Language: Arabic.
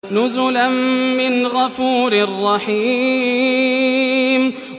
نُزُلًا مِّنْ غَفُورٍ رَّحِيمٍ